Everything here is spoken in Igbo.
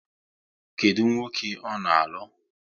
Kedụ nwoke ọ na-alụ?